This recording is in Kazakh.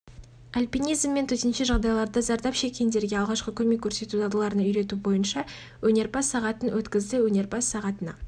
альпинизм және төтенше жағдайларда зардап шеккендерге алғашқы көмек көрсету дағдыларына үйрету бойынша өнерпаз-сағатын өткізді өнерпаз-сағатына